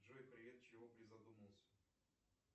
джой привет чего призадумался